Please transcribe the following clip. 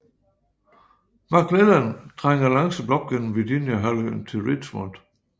McClellan trænger langsomt op gennem Virginia halvøen til Richmond